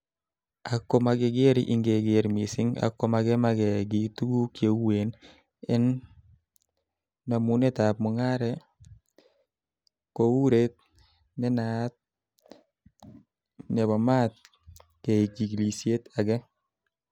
Ak komagerger, ingegeer missing ak koma kima giy tuguk cheuen en nomunetab mungare, ko oret ne naat nebo maat keig chigilisiet age.